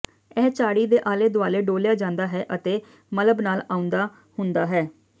ਇਹ ਝਾੜੀ ਦੇ ਆਲੇ ਦੁਆਲੇ ਡੋਲ੍ਹਿਆ ਜਾਂਦਾ ਹੈ ਅਤੇ ਮਲਬ ਨਾਲ ਆਉਦਾ ਹੁੰਦਾ ਹੈ